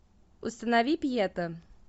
установи пьета